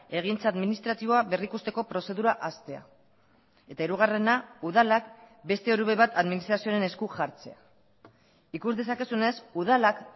egintza administratiboa berrikusteko prozedura hastea eta hirugarrena udalak beste orube bat administrazioaren esku jartzea ikus dezakezunez udalak